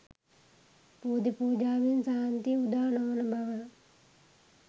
බෝධි පූජාවෙන් ශාන්තිය උදා නොවන බව